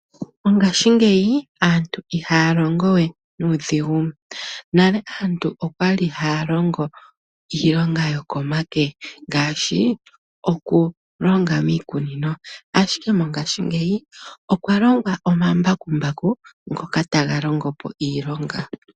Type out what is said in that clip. Mongashingeyi aantu ihaya longo we nuudhigu nala aantu okwali haya longo iilonga yokomake ngaashi okulonga miikuninonashike mongashingeyi okwa longwa omambakumbaku ngoka taga longopo iilonga.